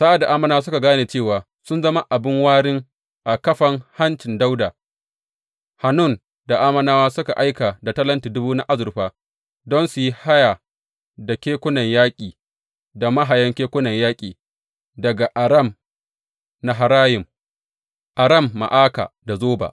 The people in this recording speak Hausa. Sa’ad da Ammonawa suka gane cewa sun zama abin wurin a kafan hancin Dawuda, Hanun da Ammonawa suka aika da talenti dubu na azurfa don su yi haya da kekunan yaƙi da mahayan kekunan yaƙi daga Aram Naharayim, Aram Ma’aka da Zoba.